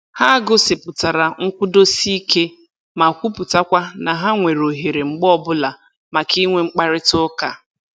Ha gosipụtara nkwụdosike ma kwuputakwa na ha nwere ohere mgbe ọbụla maka inwe mkparịta ụka